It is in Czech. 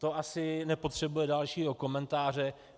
To asi nepotřebuje dalšího komentáře.